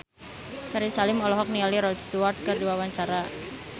Ferry Salim olohok ningali Rod Stewart keur diwawancara